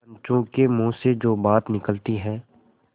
पंचों के मुँह से जो बात निकलती है